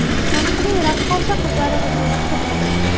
Taniqli raqqosa qizlarimizni yaxshi bilaman.